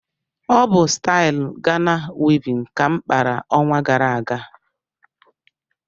Ọ bụ stailu Gana wivin ka m kpara ọnwa gara aga